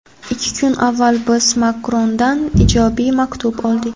Ikki kun avval biz Makrondan ijobiy maktub oldik.